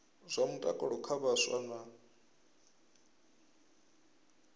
zwa mutakalo kha vhaswa na